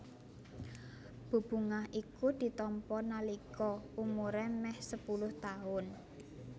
Bebungah iku ditampa nalika umuré mèh sepuluh taun